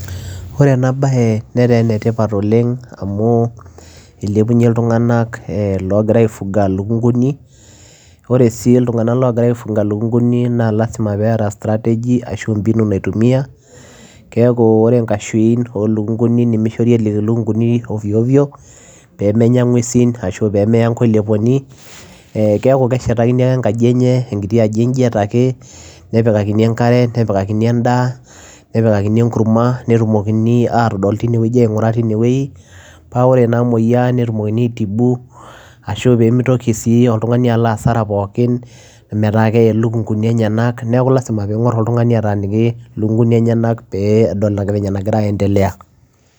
Ore ena bayee netaa ene tipat oleng too ilntunganak ogiraa aifunga ilukunguni amuu lazima peyiee etaa strategy keekuu oree inkashin nimishorii erik ilukunguni peyiee menya inguesin ashua peyiee meyaa inkoleponi keeku keshetakini enkaji nipikakani Ankare eendaa napikakini enkurma ningorii tine wueji netumokini aaitibuu tine peyiee mitoki oltunganii aloo asara